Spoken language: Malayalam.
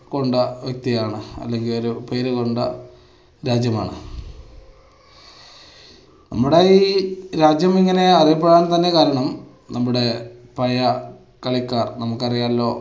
കൊണ്ട വ്യക്തിയാണ് അല്ലെങ്കിൽ ഒരു പേര് കൊണ്ട രാജ്യമാണ്. നമ്മുടെ ഈ രാജ്യം ഇങ്ങനെ അറിയപ്പെടാൻ തന്നെ കാരണം നമ്മുടെ പഴയ കളിക്കാർ നമുക്ക് അറിയാലൊ